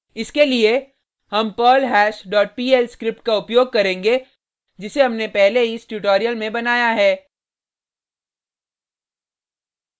इसके लिए हम perlhash dot pl स्क्रिप्ट का उपयोग करेंगे जिसे हमने पहले ही इस ट्यूटोरियल में बनाया है